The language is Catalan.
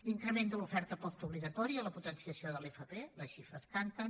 l’increment de l’oferta postobligatòria la potenciació de l’fp les xifres canten